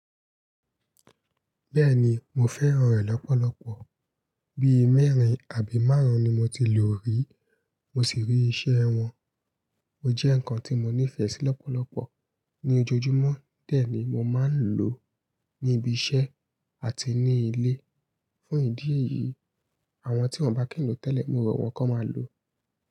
Bẹ́ẹ̀ni mo fẹ́ràn rẹ̀ lọ́pọ̀lọpọ̀. Bí i mẹ́rin àbí márùn-ún ni mo ti lò rí, mo sì rí iṣẹ́ wọn. Ó jẹ́ ǹkan tí mo nífẹ̀ẹ́ sí lọ́pọ̀lọpọ̀ ní ojoojúmọ́, bẹ́ẹ̀ ni mo máa ń lò ó ní ibiṣẹ́ àti ní ilé. Fún ìdí èyí, àwọn tí wọ́n bá kí n lò tẹ́lẹ̀, mo rọ̀ wọ́n kó máa lò ó.